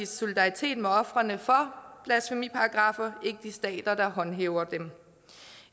solidaritet med ofrene for blasfemiparagraffer ikke de stater der håndhæver dem